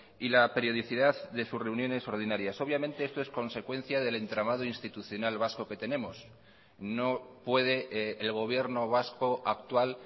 y la periodicidad de sus reuniones ordinarias obviamente esto es consecuencia del entramado institucional vasco que tenemos no puede el gobierno vasco actual